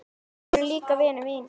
Þetta eru líka vinir mínir.